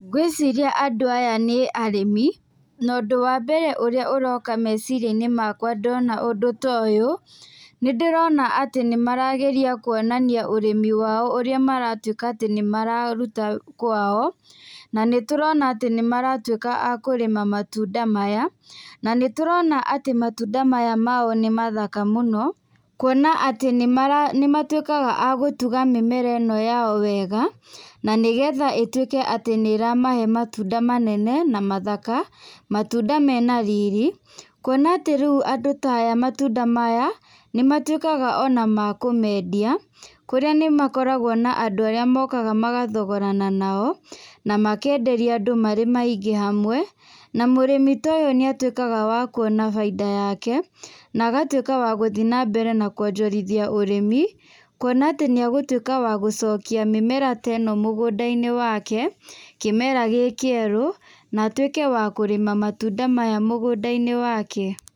Ngwĩciria andũ aya nĩ arĩmi no ũndũ wambere ũrĩa ũroka meciria-ini makwa ndona ũndũ ta ũyũ, nĩndĩrona atĩ nĩmarageria kuonania ũrĩmi wao ũrĩa maratwĩka atĩ nĩmararuta kwao na nĩtũrona atĩ nĩmaratwĩka a kũrĩma matunda maya na nĩtũrona atĩ matunda maya mao nĩ mathaka mũno kuona atĩ nĩmatwĩkaga a gũtuga mĩmera ĩno yao wega na nĩgetha ĩtuĩke atĩ nĩ ĩramahe matunda manene na mathaka, matunda mena riri, kuona atĩ rĩu andũ ta aya matunda maya nĩ matwĩkaga ona ma kũmendia kũrĩa nĩmakoragwo na andũ arĩa mokaga magathogorana nao na makenderia andũ marĩ maingĩ hamwe na mũrĩmi ta ũyũ nĩ atwĩkaga wa kuona bainda yake na agatwĩka wagũthiĩ na mbere kuonjorithia ũrĩmi kuona atĩ nĩegũtwĩka wa gũcokia mĩmera teno mũgũnda-inĩ wake kĩmera gĩkĩerũ na atwĩke wa kũrĩma matunda maya mũgũnda-inĩ wake.